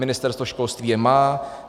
Ministerstvo školství je má.